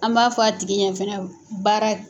An b'a fɔ a tigi ɲɛ fana baara